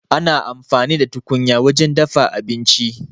Ana amfani da tukunya wajen dafa abinci.